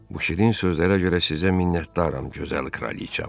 Bu şirin sözlərə görə sizə minnətdaram, gözəl kraliçam.